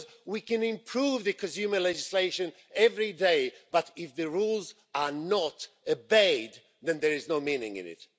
we can improve consumer legislation every day, but if the rules are not obeyed, then there is no meaning in it.